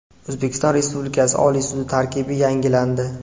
O‘zbekiston Respublikasi Oliy sudi tarkibi yangilandi.